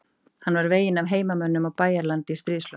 Hann var veginn af heimamönnum á Bæjaralandi í stríðslok.